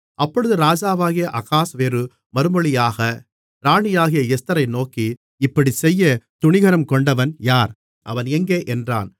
அப்பொழுது ராஜாவாகிய அகாஸ்வேரு மறுமொழியாக ராணியாகிய எஸ்தரை நோக்கி இப்படிச் செய்யத் துணிகரங்கொண்டவன் யார் அவன் எங்கே என்றான்